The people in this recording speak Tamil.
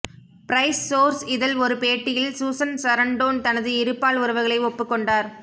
பிரைஸ்ஸ்சோர்ஸ் இதழ் ஒரு பேட்டியில் சூசன் சரண்டோன் தனது இருபால் உறவுகளை ஒப்புக் கொண்டார்